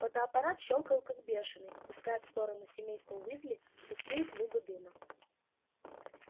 фотоаппарат щёлкал как бешеный пуская в сторону семейства уизли густые клубы дыма